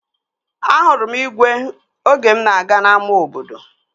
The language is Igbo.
Ahụrụ igwe oge mụ na-aga n'ama obodo